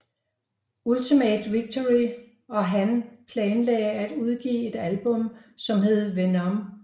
Ultimate Victory og han planlagde at udgive et album som hed Venom